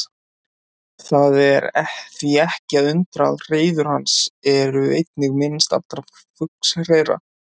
Það er því ekki að undra að hreiður hans eru einnig minnst allra fuglshreiðra.